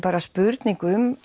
spurning um